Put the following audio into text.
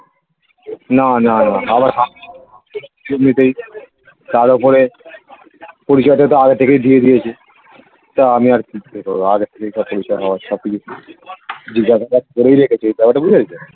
না না না আবার . তার ওপরে পরিচয় টা তো আগে থেকেই দিয়ে দিয়েছে তা আমি আর কি জিজ্ঞাসা করবো আগে থেকেই সব পরিচয় হওয়া সব কিছু ঠিক . করেই রেখেছে ব্যাপার টা বুঝতে পেরেছো